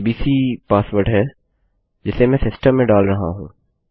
ABC password है जिसे मैं सिस्टम में डाल रहा हूँ